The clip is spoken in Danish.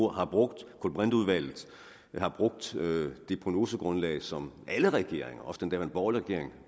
har brugt kulbrinteudvalget vi har brugt det prognosegrundlag som alle regeringer også den daværende borgerlige regering